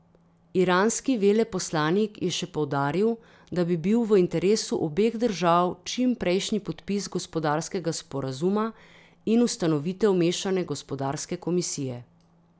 Iranski veleposlanik je še poudaril, da bi bil v interesu obeh držav čimprejšnji podpis gospodarskega sporazuma in ustanovitev mešane gospodarske komisije.